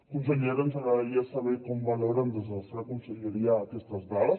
consellera ens agradaria saber com valoren des de la seva conselleria aquestes dades